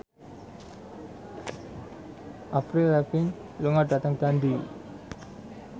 Avril Lavigne lunga dhateng Dundee